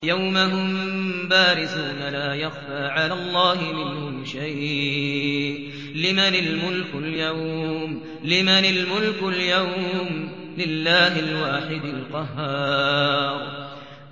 يَوْمَ هُم بَارِزُونَ ۖ لَا يَخْفَىٰ عَلَى اللَّهِ مِنْهُمْ شَيْءٌ ۚ لِّمَنِ الْمُلْكُ الْيَوْمَ ۖ لِلَّهِ الْوَاحِدِ الْقَهَّارِ